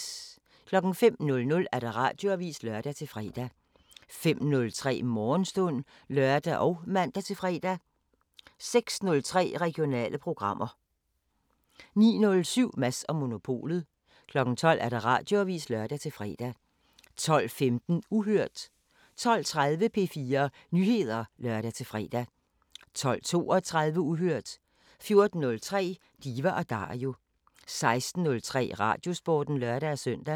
05:00: Radioavisen (lør-fre) 05:03: Morgenstund (lør og man-fre) 06:03: Regionale programmer 09:07: Mads & Monopolet 12:00: Radioavisen (lør-fre) 12:15: Uhørt 12:30: P4 Nyheder (lør-fre) 12:32: Uhørt 14:03: Diva & Dario 16:03: Radiosporten (lør-søn)